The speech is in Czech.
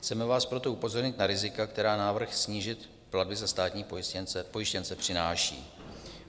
Chceme vás proto upozornit na rizika, která návrh snížit platby za státní pojištěnce přináší.